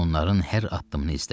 Onların hər addımını izlə.